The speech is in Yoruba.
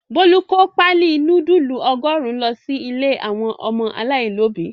Bólú kó páálí núdúlù ọgọ́rùn-ún lọ sí ilé àwọn ọmọ aláìlóòbí.